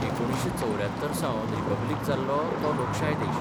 1974 सावन रिपब्लिक जाल्लो तो लोकशाय देश.